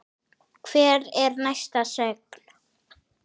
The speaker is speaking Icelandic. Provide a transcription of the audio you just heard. Hver er næsta sögn?